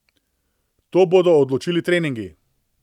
To bodo odločili treningi.